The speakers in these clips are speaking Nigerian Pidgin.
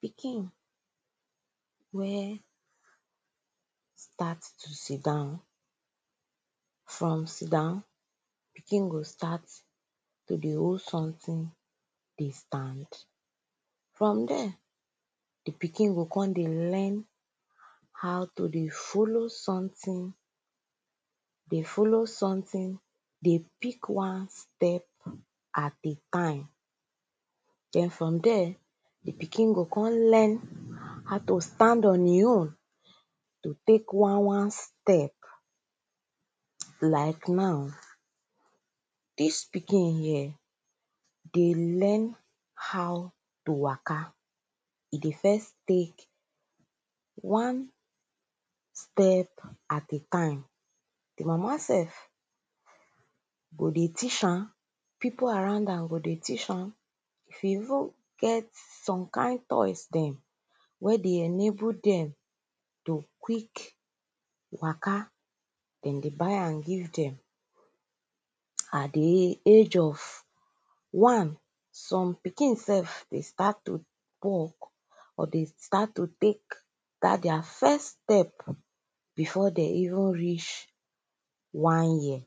pikin wey start to siddon from siddon pikin go start to dey hold something dey stand from there the pikin go come dey learn how to dey follow something dey follow something dey pick one step at a time then from there the pikin go come learn how to stand on e own to take one one step like now dis pikin here dey learn how to waka e dey first take one step at a time the mama self go dey teach am people around am go dey teach am if e even get some kind toys dem wey dey enable dem to quick waka dem dey buy am give dem at the age of one some pikin self dey start to walk or dey start to take dat their first step before dem even reach one year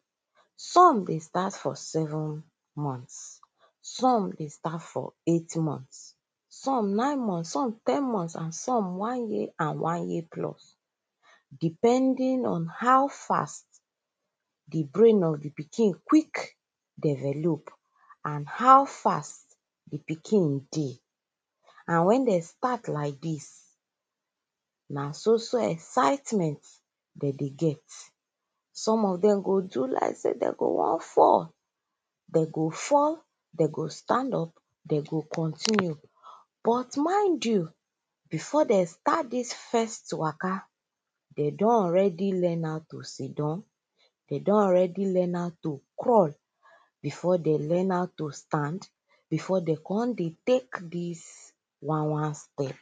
some dey start for seven months some dey start for eight months some nine months, some ten months and some one year and one year plus depending on how fast the brain of the pikin develop and how fast the pikin dey and wen dem start like dis na soso excitement dem dey get some of dem go do like sey go wan fall dem go fall dem go stand up dem go continue but mind you before dem start dis first waka dem don already learn how to siddon dem alredy learn how to crawl before dem learn how to stand before dem come dey take dis one one step